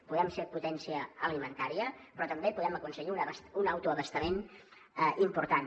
podem ser potència alimentària però també podem aconseguir un autoabastament important